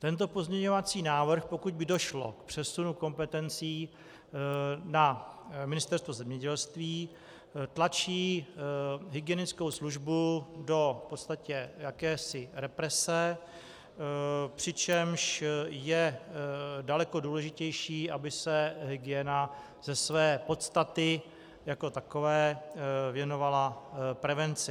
Tento pozměňovací návrh, pokud by došlo k přesunu kompetencí na Ministerstvo zemědělství, tlačí hygienickou službu do v podstatě jakési represe, přičemž je daleko důležitější, aby se hygiena ze své podstaty jako takové věnovala prevenci.